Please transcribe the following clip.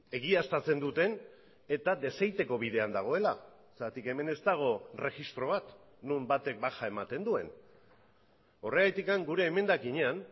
egiaztatzen duten eta desegiteko bidean dagoela zergatik hemen ez dago erregistro bat non batek baja ematen duen horregatik gure emendakinean